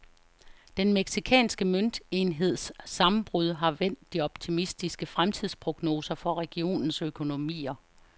Den mexicanske møntenheds sammenbrud har vendt de optimistiske fremtidsprognoser for regionens økonomier.